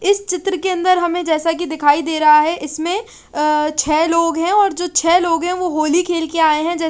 इस चित्र के अंदर हमें जैसा की दिखाई दे रहा है इसमें अ छ लोग है और जो छ लोग है वो होली खेल के आए हैं।